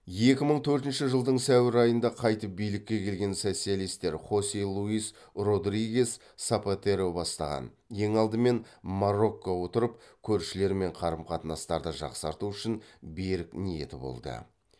екі мың төртінші жылдың сәуір айында қайтып билікке келген социалистер хосе луис родригес сапатеро бастаған ең алдымен марокко отырып көршілерімен қарым қатынастарды жақсарту үшін берік ниеті болды